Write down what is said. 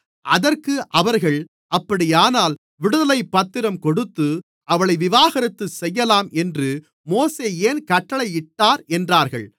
அதற்கு அவர்கள் அப்படியானால் விடுதலைப்பத்திரம் கொடுத்து அவளை விவாகரத்து செய்யலாம் என்று மோசே ஏன் கட்டளையிட்டார் என்றார்கள்